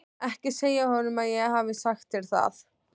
Ekki segja honum að ég hafi sagt þér það.